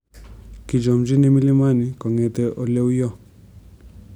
Kichomchini mlimani kongete oleuyo.